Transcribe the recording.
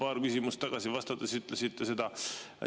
Paar küsimust tagasi vastates ütlesite seda.